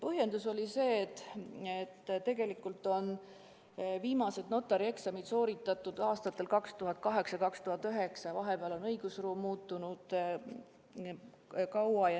Põhjendus oli see, et tegelikult on viimased notarieksamid sooritatud aastatel 2008 ja 2009 ja vahepeal on õigusruum palju muutunud.